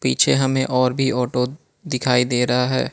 पीछे हमें और भी ऑटो दिखाई दे रहा है।